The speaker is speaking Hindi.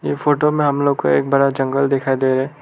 ये फोटो में हम लोग को एक बड़ा जंगल दिखाई दे रहा--